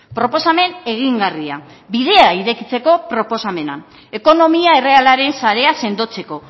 proposamen egingarria bidea irekitzeko proposamena ekonomia errealaren sarea sendotzeko